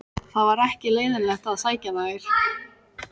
Það var ekki leiðinlegt að sækja þær.